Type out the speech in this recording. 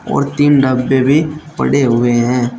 और तीन डब्बे भी पड़े हुए है।